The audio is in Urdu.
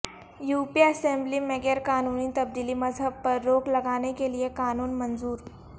یوپی اسمبلی میں غیر قانونی تبدیلی مذہب پر روک لگانے کے لئے قانون منظور